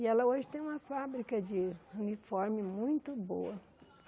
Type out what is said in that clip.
E ela hoje tem uma fábrica de uniforme muito boa.